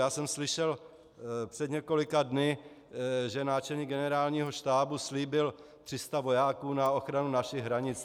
Já jsem slyšel před několika dny, že náčelník Generálního štábu slíbil 300 vojáků na ochranu našich hranic.